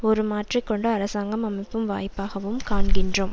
ஒரு மாற்றி கொண்டு அரசாங்கம் அமைக்கும் வாய்ப்பாகவும் காண்கிறோம்